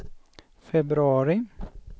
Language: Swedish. februari